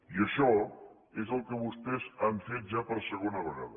i això és el que vostès han fet ja per segona vegada